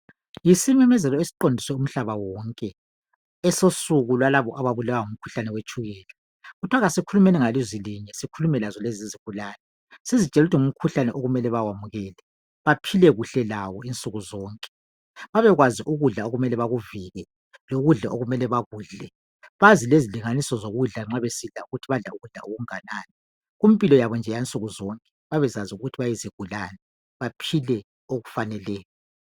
Yisimemezelo esiqondiswe kumhlaba wonke! Esosuku lalabo ababulawa ngumkhuhlane wetshukela. Kuthiwa kasikhulumeni ngalizwilinye. Sikhulume lazo kezizigulane. Sizitshele ukuthi ngumkhuhlane okumele bawamukele. Baphile kuhle lawo insuku zonke. Babekwazi ukudla okumele bakuvike, lokudla okumele bakudle. Bazi lezilinganiso zokudla ukuthi kumele badle ukudla okunganani. Kumpilo yabo nje yansuku zonke babezazi ukuthi bayizigulane. Baphile okufaneleyo.